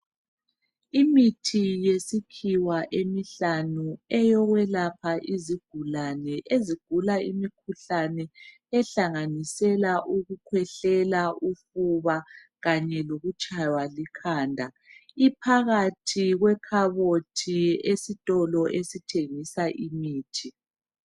Imithi yesisikhiwa emihlanu , eyokwelapha izigulane ezigula imikhuhlane ehlanganisela ukukhwehlela , ufuba kanye lokutshaywa likhanda , iphakathi kwekhabothi esitolo esithengisa imithi